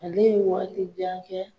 Ale ye waati jan kɛ